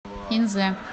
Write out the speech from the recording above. инзе